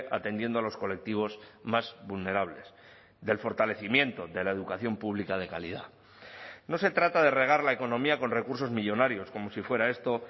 atendiendo a los colectivos más vulnerables del fortalecimiento de la educación pública de calidad no se trata de regar la economía con recursos millónarios como si fuera esto